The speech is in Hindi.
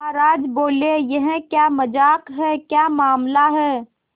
महाराज बोले यह क्या मजाक है क्या मामला है